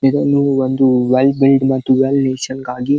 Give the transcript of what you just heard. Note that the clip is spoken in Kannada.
ಇದೊಂದು ಒಂದು ವೈಲ್ಡ್ ಬಿಲ್ಡ್ ಮತ್ತು ವೈಲ್ಡ್ ನೇಶನ್ ಗಾಗಿ --